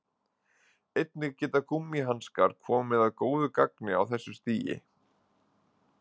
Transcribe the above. Einnig geta gúmmíhanskar komið að góðu gagni á þessu stigi.